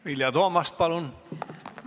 Vilja Toomast, palun!